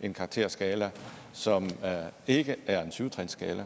en karakterskala som ikke er en syv trinsskala